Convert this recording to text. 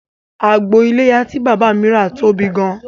Àgbò iléyá tí bàbá mi rà tóbi gan